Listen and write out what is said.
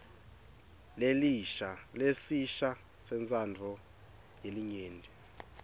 lesisha sentsandvo yelinyenti